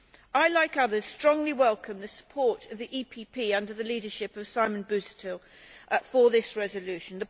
I, like others, strongly welcome the support of the EPP under the leadership of Simon Busuttil for this resolution.